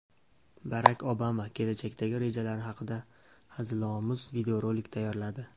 Barak Obama kelajakdagi rejalari haqida hazilomuz videorolik tayyorladi.